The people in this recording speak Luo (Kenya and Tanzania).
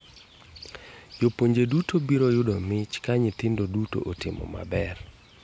Jopuonje duto biro yudo mich ka nyithindo duto otimo maber.